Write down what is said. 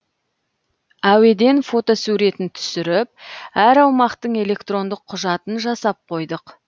әуеден фотосуретін түсіріп әр аумақтың электрондық құжатын жасап қойдық